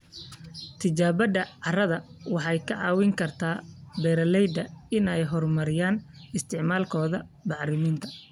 Tijaabada carrada waxay ka caawin kartaa beeralayda inay horumariyaan isticmaalkooda bacriminta.